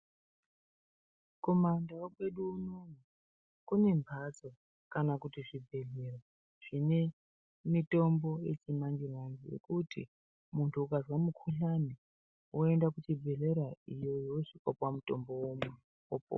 Kuma ndau kwedu unono kune mhatso kana kuti zvibhedhlera zvine mitombo yechimanje-manje. Yekuti muntu ukazwe mukuhlani voenda kuchibhedhlera iyo vosvika kupuva mutombo vomwa vopora.